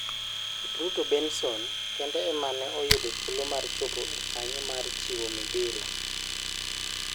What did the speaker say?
Kipruto Benso kende emane oyudo thuolo mar chopo e kanyo mar chiwo midila.